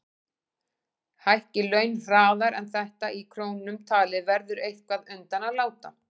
Hækki laun hraðar en þetta í krónum talið verður eitthvað undan að láta.